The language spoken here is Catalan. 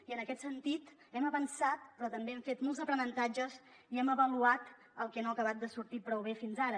i en aquest sentit hem avançat però també hem fet molts aprenentatges i hem avaluat el que no ha acabat de sortir prou bé fins ara